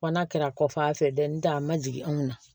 Kɔnna ka ko a fɛ dɛ ntɛ a ma jigin anw na